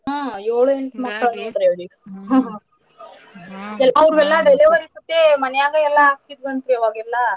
ಹಾ ಏಳು ಎಂಟು ಮಕ್ಕಳು . ಅವ್ರು ಎಲ್ಲಾ delivery ಸತೇ ಮನ್ಯಾಗ ಎಲ್ಲಾ ಆಗ್ತಿದ್ದು ಅಂತ ಅವಾಗೆಲ್ಲಾ.